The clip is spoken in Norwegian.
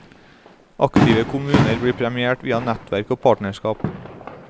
Aktive kommuner blir premiert via nettverk og partnerskap.